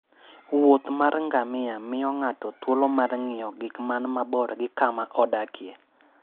wuoth mar ngamia miyo ng'ato thuolo mar ng'iyo gik man mabor gi kama odakie.